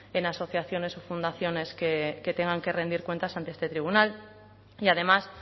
en asociaciones o fundaciones que tengan que rendir cuentas ante este tribunal y además